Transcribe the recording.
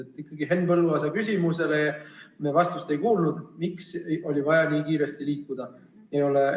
Me ikkagi ei kuulnud vastust Henn Põlluaasa küsimusele, miks oli vaja nii kiiresti eelnõuga edasi liikuda.